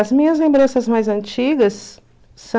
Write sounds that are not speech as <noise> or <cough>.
As minhas lembranças mais antigas <unintelligible>